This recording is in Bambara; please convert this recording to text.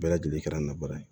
Bɛɛ lajɛlen kɛra n na baara ye